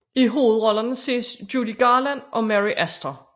I hovedrollerne ses Judy Garland og Mary Astor